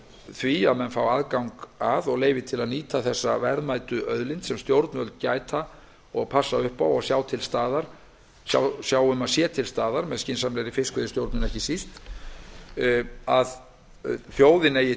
því að menn fá aðgang að og leyfi til að nýta þessa verðmætu auðlind sem stjórnvöld gæta og passa upp á og sjá um að sé til staðar ekki síst með